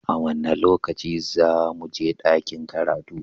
A wane lokaci za mu je dakin karatu?